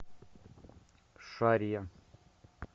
шарья